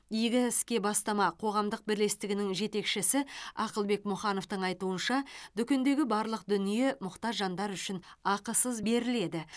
игі іске бастама қоғамдық бірлестігінің жетекшісі ақылбек мұхановтың айтуынша дүкендегі барлық дүние мұқтаж жандар үшін ақысыз беріледі